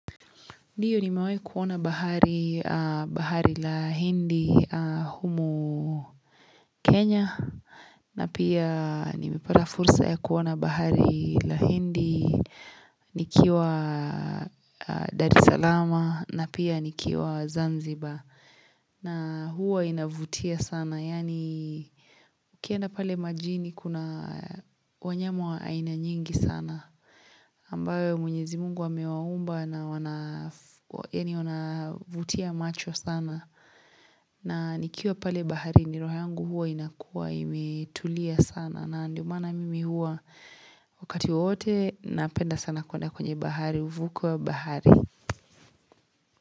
Ndiyo nimewahi kuona bahari, bahari la hindi humu Kenya na pia nimepata fursa ya kuona bahari la hindi nikiwa Dari salama na pia nikiwa Zanzibar na huwa inavutia sana. Yaani Ukienda pale majini kuna wanyama wa aina nyingi sana ambayo mwenyezi mungu amewaumba na wanavutia macho sana na nikiwa pale bahari ni roho yangu huwa inakuwa imetulia sana na ndiyo maana mimi huwa wakati wote napenda sana kuenda kwenye bahari uvuko wa bahari.